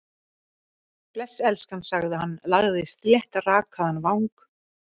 Bless, elskan sagði hann, lagði sléttrakaðan vang